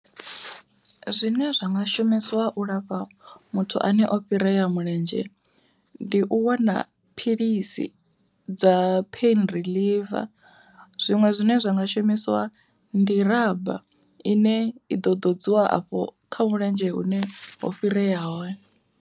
Zwine zwa nga shumisiwa u lafha muthu ane o fhirea mulenzhe, ndi u wana philisi dza pheini riḽiva, zwiṅwe zwine zwa nga shumisiwa ndi ramba, ine i ḓo ḓodziwa afho kha mulenzhe hune ho fhirea hone.